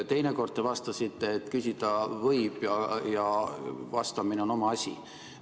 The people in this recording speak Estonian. Teinekord te vastasite, et küsida võib ja vastamine on oma asi.